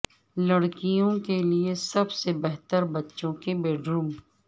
لڑکیوں کے لئے سب سے بہتر بچوں کے بیڈروم